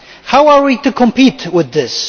How are we to compete with this?